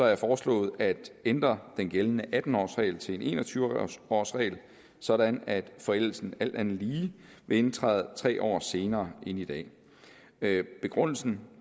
jeg foreslået at ændre den gældende atten årsregel til en en og tyve årsregel sådan at forældelsen alt andet lige vil indtræde tre år senere end i dag begrundelsen